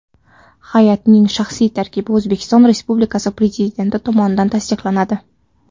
Hay’atning shaxsiy tarkibi O‘zbekiston Respublikasi Prezidenti tomonidan tasdiqlanadi.